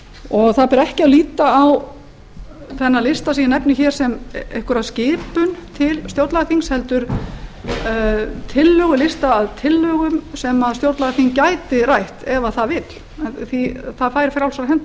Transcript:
og það ber ekki að líta á þennan lista sem ég nefni hér sem einhverja skipun til stjórnlagaþings heldur lista að tillögum sem stjórnlagaþing gæti rætt ef það vill það fær frjálsar hendur